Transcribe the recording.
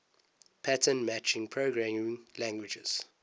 pattern matching programming languages